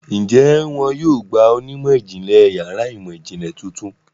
Ǹjẹ́ wọn yóò gba onímọ̀-ìjìnlẹ̀ yàrá ìmọ̀-ìjìnlẹ̀ tuntun?